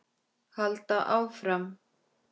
Halda áfram.